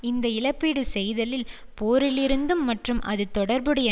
இந்த இழப்பீடு செய்தலில் போரிலிருந்தும் மற்றும் அது தொடர்புடைய